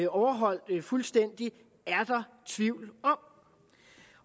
overholdt fuldstændigt er der tvivl om